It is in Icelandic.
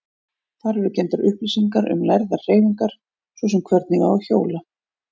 Þar eru geymdar upplýsingar um lærðar hreyfingar, svo sem hvernig á að hjóla.